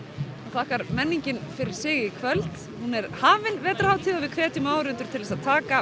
þakkar menningin fyrir sig í kvöld hún er hafin vetrarhátíð og við hvetjum áhorfendur til þess að taka